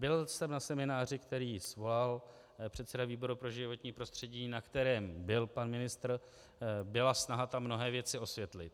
Byl jsem na semináři, který svolal předseda výboru pro životní prostředí, na kterém byl pan ministr, byla snaha tam mnohé věci osvětlit.